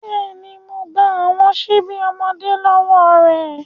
Bẹ́ẹ̀ni, Mo gba awọn ṣibi ọmọde lọwọ rẹ